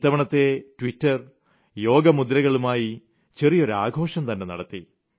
ഇത്തവണ Twitter yoga മുദ്രകളുമായി ചെറിയൊരു ആഘോഷം തന്നെ നടത്തി